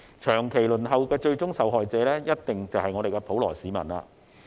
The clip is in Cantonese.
長期輪候的最終受害者，一定是普羅市民。